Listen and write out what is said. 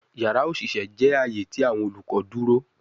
Yara oṣiṣẹ jẹ aaye ti awọn olukọ duro